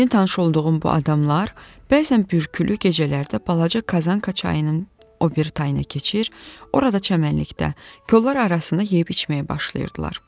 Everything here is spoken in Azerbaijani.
Yeni tanış olduğum bu adamlar bəzən Bürkülü çayının o biri tayına keçir, orada çəmənlikdə kollar arasında yeyib içməyə başlayırdılar.